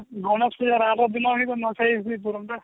ଗଣେଶ ପୂଜାର ଆରଦିନ ହିଁ ନୂଆଖାଇ ହେଇ ପାରନ୍ତା